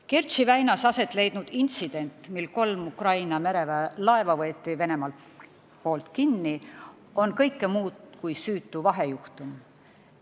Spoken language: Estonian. Kertši väinas asetleidnud intsident, mille käigus kolm Ukraina mereväe laeva võeti Venemaa poolt kinni, on kõike muud kui süütu vahejuhtum.